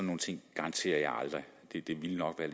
nogle ting garanterer jeg aldrig det ville nok være